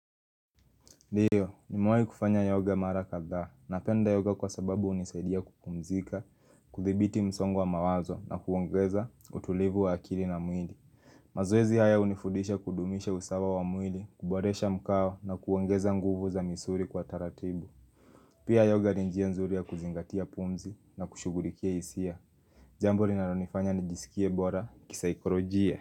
Ndiyo, nimewahi kufanya yoga mara kadhaa napenda yoga kwa sababu hunisaidia kupumzika, kuthibiti msongo wa mawazo na kuongeza utulivu wa akili na mwili. Mazoezi haya hunifudisha kudumisha usawa wa mwili, kuboresha mkao na kuongeza nguvu za misuri kwa taratibu. Pia yoga ni njia nzuri ya kuzingatia pumzi na kushugulikia hisia. Jambo linalonifanya nijisikie bora, kisaikolojia.